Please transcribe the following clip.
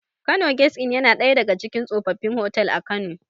Kano gesti in yana ɗaya daga cikin tsofaffin otal a kano